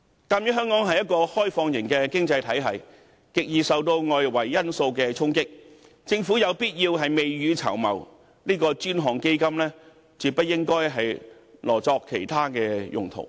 鑒於香港是一個開放型經濟體系，極易受到外圍因素衝擊，政府有必要未雨綢繆，這個專項基金絕不應該挪作其他用途。